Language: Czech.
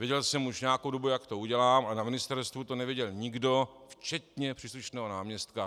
Věděl jsem už nějakou dobu, jak to udělám, ale na ministerstvu to nevěděl nikdo, včetně příslušného náměstka.